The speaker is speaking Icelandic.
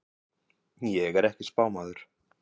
Ég er ekki spámaður.